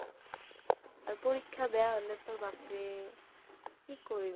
আৰু পৰীক্ষা বেয়া হ'লেটো বাপৰে কি কৰিব